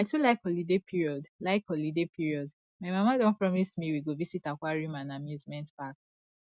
i too like holiday period like holiday period my mama don promise me we go visit aquarium and amusement park